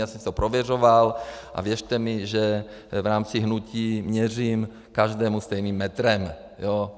Já jsem si to prověřoval a věřte mi, že v rámci hnutí měřím každému stejným metrem.